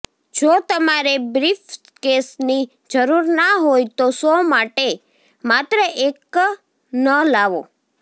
જો તમારે બ્રીફકેસની જરૂર ના હોય તો શો માટે માત્ર એક ન લાવો